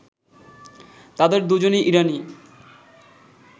তাদের দু'জনই ইরানি